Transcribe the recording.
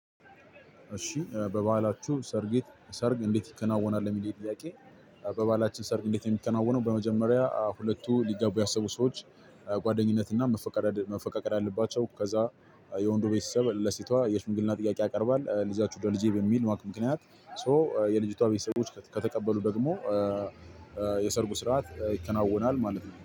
እሺ በበዓላችሁ ሰርጌት ሰርግ እንዴት ይከናወናል የሚለኝ ጥያቄ? በበአላችን ሰርግ እንዴት እሚከናወነው በመጀመሪያ ሁለቱ ሊጋቡ ያሰቡ ሰዎች ጓደኝነት እና መፈቃቀል መፈቃቀር አለባቸው። ከዛ የወንዱ ቤተሰብ ለሴቷ የሽምግልና ጥያቄ ያቀርባል። ልጃችሁ ደልጄ በሚል ማቅ ምክንያት ሶ የልጅቷ ቤተሰቦች ከተቀበሉ ደግሞ የሰርጉ ስርዓት ይከናወናል ማለት ነው